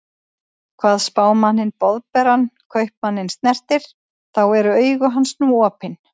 Hvað Spámanninn Boðberann Kaupmanninn snertir, þá eru augu hans nú opin.